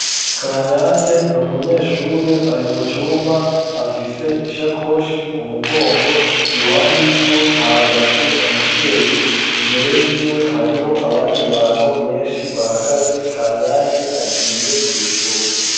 Kanyange n'umunyeshure ari mu cumba afise isakoshi ku mugongo iruhande yiwe hahagaze umuvyeyi imbere yiwe hariho abandi bantu beshi bahagaze Kanyange agiye kw'ishure.